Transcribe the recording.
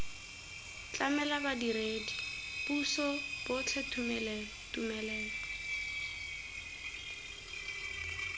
tlamela badiredi puso botlhe tumelelo